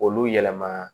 Olu yɛlɛma